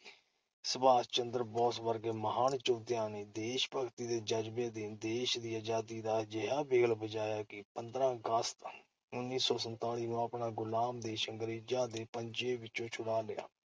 ਸੰਭਾਸ਼ ਚੰਦਰ ਬੋਸ ਵਰਗੇ ਮਹਾਨ ਯੋਧਿਆਂ ਨੇ ਦੇਸ਼-ਭਗਤੀ ਦੇ ਜਜ਼ਬੇ ਅਧੀਨ ਦੇਸ਼ ਦੀ ਅਜ਼ਾਦੀ ਦਾ ਅਜਿਹਾ ਬਿਗਲ ਵਜਾਇਆ ਕਿ ਪੰਦਰਾਂ ਅਗਸਤ, ਉੱਨੀ ਸੌ ਸੰਤਾਲੀ ਨੂੰ ਆਪਣਾ ਗੁਲਾਮ ਦੇਸ਼ ਅੰਗਰੇਜ਼ਾਂ ਦੇ ਪੰਜੇ ਵਿੱਚੋਂ ਛੁਡਾ ਲਿਆ ।